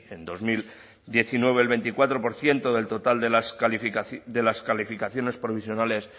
en dos mil diecinueve el veinticuatro por ciento del total de las calificaciones provisionales